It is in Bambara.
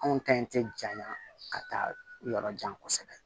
Anw ka ɲi tɛ janya ka taa yɔrɔ jan kosɛbɛ